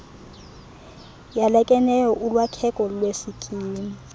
yalekeneyo ulwakheko lwesikimu